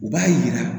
U b'a yira